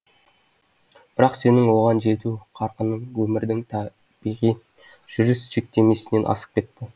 бірақ сенің оған жету қарқының өмірдің табиғи жүріс шектемесінен асып кетті